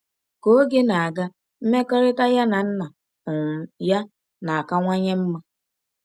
Ka oge na-aga, mmekọrịta ya na nna um ya na-akawanye mma.